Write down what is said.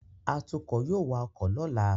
Atukọ̀ yóò wa ọkọ̀ lọ́la